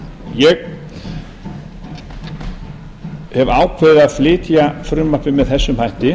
ég hef ákveðið að flytja frumvarpið með þessum hætti